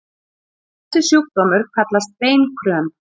Þessi sjúkdómur kallast beinkröm.